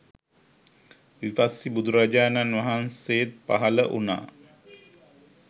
විපස්සී බුදුරජාණන් වහන්සේත් පහළ වුණා.